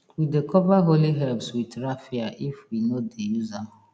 we dey cover holy herbs with raffia if we no dey use am